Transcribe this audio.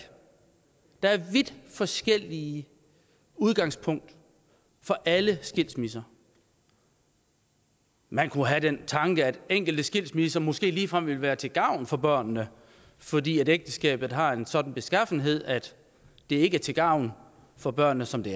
der er vidt forskellige udgangspunkter for alle skilsmisser man kunne have den tanke at enkelte skilsmisser måske ligefrem ville være til gavn for børnene fordi ægteskabet har en sådan beskaffenhed at det ikke er til gavn for børnene som det